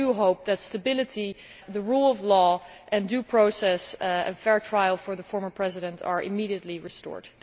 We hope that stability, the rule of law and due process, and fair trial for the former president are immediately restored.